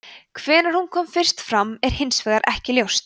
hvenær hún kemur fyrst fram er hins vegar ekki ljóst